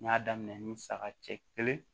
N y'a daminɛ ni saga cɛ kelen